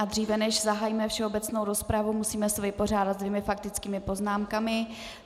A dříve než zahájíme všeobecnou rozpravu, musíme se vypořádat se dvěma faktickými poznámkami.